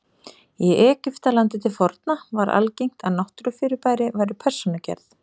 Í Egyptalandi til forna var algengt að náttúrufyrirbæri væru persónugerð.